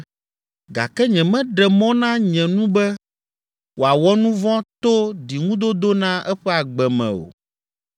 Gake nyemeɖe mɔ na nye nu be wòawɔ nu vɔ̃ to ɖiŋudodo na eƒe agbe me o.